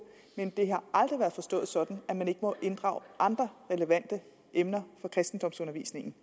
men det har aldrig været forstået sådan at man ikke må inddrage andre relevante emner for kristendomsundervisningen